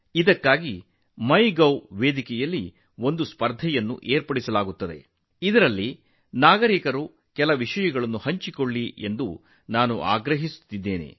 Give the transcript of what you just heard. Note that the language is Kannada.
ಇದಕ್ಕಾಗಿ ಮೈಗೋವ್ ವೇದಿಕೆಯಲ್ಲಿ ಸ್ಪರ್ಧೆಯನ್ನು ಆಯೋಜಿಸಲಾಗುವುದು ಅದರಲ್ಲಿ ಕೆಲವು ವಿಷಯಗಳನ್ನು ಹಂಚಿಕೊಳ್ಳುವಂತೆ ನಾನು ಜನರನ್ನು ಕೇಳಿಕೊಳ್ಳುತ್ತೇನೆ